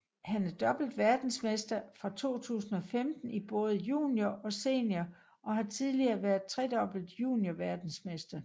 Han er dobbelt verdensmester fra 2015 i både junior og senior og har tidligere været tredobbelt juniorverdensmester